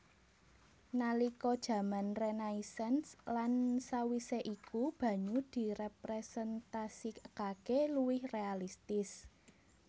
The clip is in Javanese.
Nalika jaman Renaisans lan sawisé iku banyu diréprésentasikaké luwih réalistis